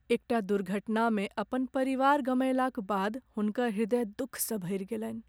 एकटा दुर्घटनामे अपन परिवार गमएलाक बाद हुनकर ह्रदय दुखसँ भरि गेलनि।